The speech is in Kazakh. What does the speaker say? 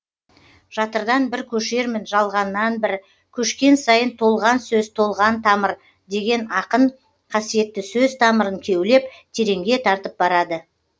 жатырдан бір көшермін жалғаннан бір көшкен сайын толған сөз толған тамыр деген ақын қасиетті сөз тамырын кеулеп тереңге тартып барады